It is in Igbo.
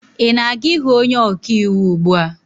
ị na aga-ịhụ onye ọka iwu ugbu a?